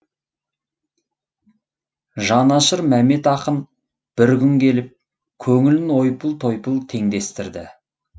жанашыр мәмет ақын бір күн келіп көңілін ойпыл тойпыл теңдестірді